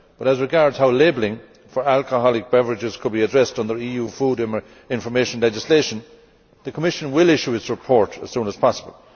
As regards how labelling for alcoholic beverages could be addressed under EU food information legislation, the Commission will issue its report as soon as possible.